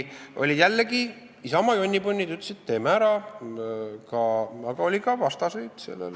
Isamaa jonnipunnid jällegi ütlesid, et teeme ära, aga oli ka vastaseid.